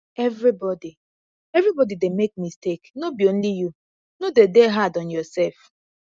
everybody everybody dey make mistake no be only you no de dey hard on yourself